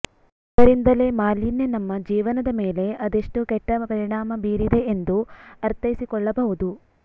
ಇದರಿಂದಲೇ ಮಾಲಿನ್ಯ ನಮ್ಮ ಜೀವನದ ಮೇಲೆ ಅದೆಷ್ಟು ಕೆಟ್ಟ ಪರಿಣಾಮ ಬೀರಿದೆ ಎಂದುಉ ಅರ್ಥೈಸಿಕೊಳ್ಳಬಹುದು